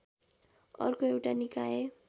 अर्को एउटा निकाय